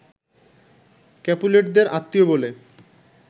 ক্যাপুলেটদের আত্মীয় বলে